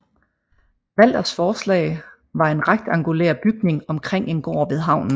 Walthers forslag var en rektangulær bygning omkring en gård ved havnen